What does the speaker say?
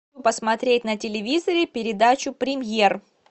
посмотреть на телевизоре передачу премьер